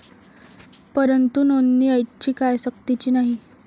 परंतु नोंदणी ऐच्छिक आहे, सक्तीची नाही.